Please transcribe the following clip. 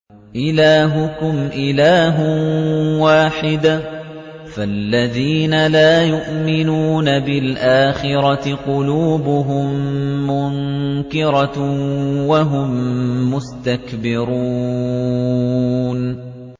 إِلَٰهُكُمْ إِلَٰهٌ وَاحِدٌ ۚ فَالَّذِينَ لَا يُؤْمِنُونَ بِالْآخِرَةِ قُلُوبُهُم مُّنكِرَةٌ وَهُم مُّسْتَكْبِرُونَ